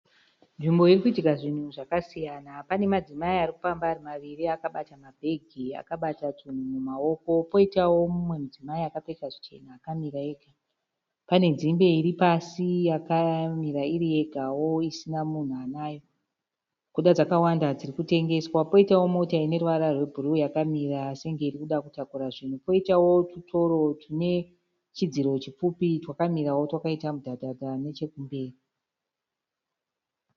Nzvimbo irikuitwa zvinhu zvakasiyana. Panemadzimai arikufamba ari maviri akabata mabhegi, akabata zvinhu mumaoko. Poitawo mumwe mudzimai akapfeka zvichena akamira ega. Pane dzimbe iripasi yakamira iriyegawo isina munhu anayo, kuda dzakawanda dzirikutengeswa. Poitawo mota ineruvara rwebhuruwu yakamira senge irikuda kutakura zvinhu. Poitawo tutoro tunetudziro tupfupi twakamira twakamira mudhadhadha nechekumberi.